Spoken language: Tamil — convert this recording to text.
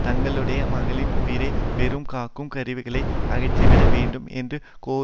தங்களுடைய மகளின் உயிரை வெறுமே காக்கும் கருவிகளை அகற்றிவிட வேண்டும் என்று கோரினர்